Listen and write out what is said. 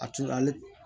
A turu ale